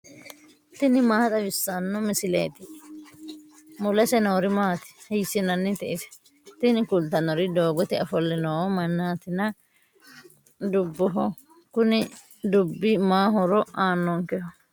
tini maa xawissanno misileeti ? mulese noori maati ? hiissinannite ise ? tini kultannori doogote ofolle noo mannaatinna dubboho kuni dubbi ma horo aannonkeho?